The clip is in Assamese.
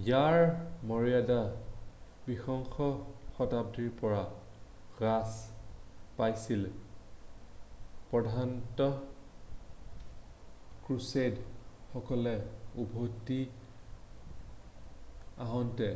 ইয়াৰ মৰ্য্যদা বিংশ শতাব্দীৰ পৰা হ্ৰাস পাইছিল প্ৰধানতঃ ক্ৰুচেদৰ সকলে উভতি আহোঁতে